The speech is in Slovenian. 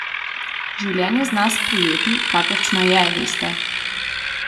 Življenje zna sprejeti, kakršno je, veste.